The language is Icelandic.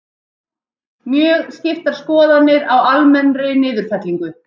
Mjög skiptar skoðanir á almennri niðurfellingu